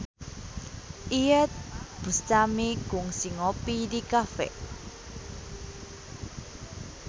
Iyeth Bustami kungsi ngopi di cafe